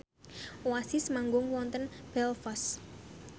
Oasis manggung wonten Belfast